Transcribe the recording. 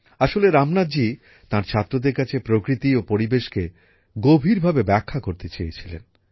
আসলে রামনাথজি তাঁর ছাত্রদের কাছে প্রকৃতি ও পরিবেশকে গভীরভাবে ব্যাখ্যা করতে চেয়েছিলেন